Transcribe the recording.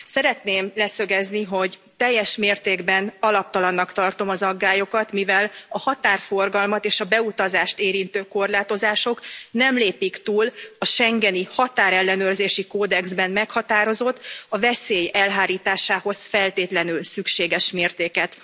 Szeretném leszögezni, hogy teljes mértékben alaptalannak tartom az aggályokat, mivel a határforgalmat és a beutazást érintő korlátozások nem lépik túl a Schengeni határellenőrzési kódexben meghatározott, a veszély elhárításához feltétlenül szükséges mértéket.